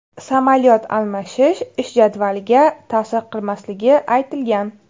Samolyot almashish ish jadvaliga ta’sir qilmasligi aytilgan.